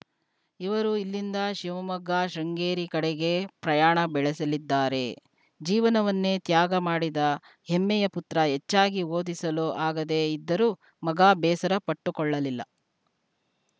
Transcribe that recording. ಇವರು ಇಲ್ಲಿಂದ ಶಿವಮೊಗ್ಗ ಶೃಂಗೇರಿ ಕಡೆಗೆ ಪ್ರಯಾಣ ಬೆಳೆಸಲಿದ್ದಾರೆ ಜೀವನವನ್ನೇ ತ್ಯಾಗ ಮಾಡಿದ ಹೆಮ್ಮೆಯ ಪುತ್ರ ಹೆಚ್ಚಾಗಿ ಓದಿಸಲು ಆಗದೇ ಇದ್ದರೂ ಮಗ ಬೇಸರ ಪಟ್ಟುಕೊಳ್ಳಲಿಲ್ಲ